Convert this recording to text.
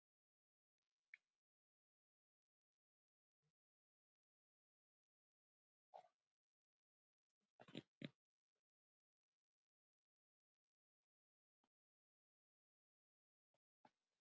Við spurðum Margréti Láru hvort hún byggist við því að íslenska liðið blési til sóknar?